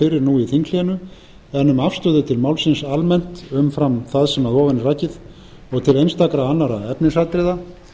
fyrir nú í þinghléinu en um afstöðu til málsins almennt umfram það sem að ofan er rakið og til einstakra annarra efnisatriða